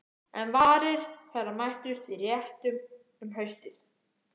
En varir þeirra mættust í réttum um haustið.